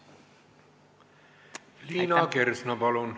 Liina Kersna, palun!